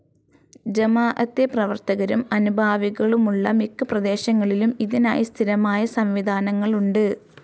ജമാഅത്തെ പ്രവർത്തകരും അനുഭാവികളുമുള്ള മിക്കപ്രദേശങ്ങളിലും ഇതിനായി സ്ഥിരമായ സംവിധാനങ്ങളുണ്ട്.